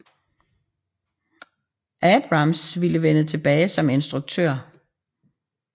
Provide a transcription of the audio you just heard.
Abrams ville vende tilbage som instruktør